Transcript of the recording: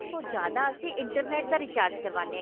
ਉਸ ਤੋਂ ਜਿਆਦਾ ਅਸੀਂ internet ਦਾ recharge ਕਰਵਾਉਦੇ ਹਾਂ